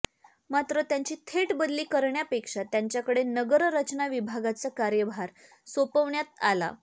मात्र त्यांची थेट बदली करण्यापेक्षा त्यांच्याकडे नगररचना विभागाचा कार्यभार सोपविण्यात आला